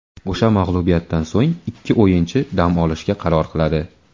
O‘sha mag‘lubiyatdan so‘ng ikki o‘yinchi dam olishga qaror qiladi.